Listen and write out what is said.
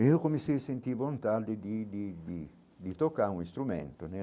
Eu comecei a sentir vontade de de de de tocar um instrumento né.